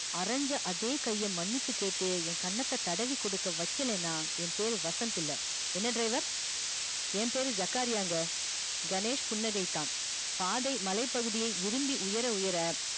அரஞ்ச அதே கைய மன்னிப்பு கேட்டு ய கண்ணத்த தடவி குடுக்க வைக்கலனா ய பேர் வசந்த் இல்ல என்ன driver ய பேரு ஜகாரியாங்க கணேஷ் புன்னகையித்தான் பாதை மலை பகுதியை உயர உயர